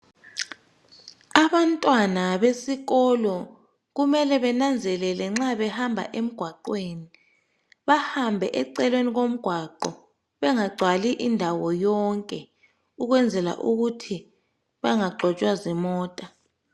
Abantwana besikolo kumele benanzelele nxa behamba emgwaqweni bahambe eceleni komgwaqo bengagcwali indawo yonke ukwenzela ukuthi bangagxotshwa zimota.